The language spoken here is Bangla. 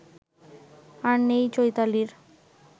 আর নেই চৈতালির